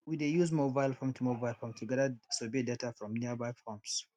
we dey use mobile form to mobile form to gather survey data from nearby farms